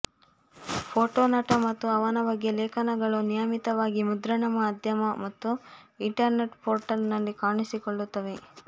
photo ನಟ ಮತ್ತು ಅವನ ಬಗ್ಗೆ ಲೇಖನಗಳು ನಿಯಮಿತವಾಗಿ ಮುದ್ರಣ ಮಾಧ್ಯಮ ಮತ್ತು ಇಂಟರ್ನೆಟ್ ಪೋರ್ಟಲ್ ನಲ್ಲಿ ಕಾಣಿಸಿಕೊಳ್ಳುತ್ತವೆ